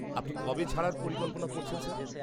আপনি কবে ছাড়ার পরিকল্পনা করছেন স্যার?